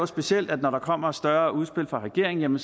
specielt når der kommer større udspil fra regeringen